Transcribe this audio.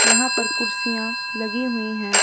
यहां पर कुर्सियां लगी हुई हैं।